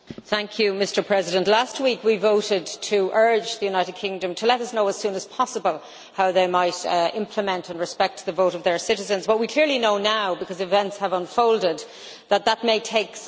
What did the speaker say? Mr President, last week we voted to urge the United Kingdom to let us know as soon as possible how they might implement and respect the vote of their citizens, but we clearly know now because events have unfolded that this may take some time.